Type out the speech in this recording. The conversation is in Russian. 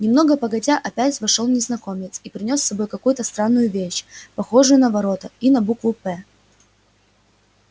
немного погодя опять вошёл незнакомец и принёс с собой какую-то странную вещь похожую на ворота и на букву п